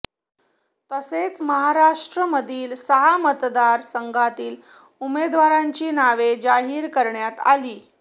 तसेच महाराष्ट्रामधील सहा मतदारसंघातील उमेदवारांची नावे जाहीर करण्यात आली